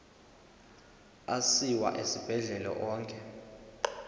asiwa esibhedlele onke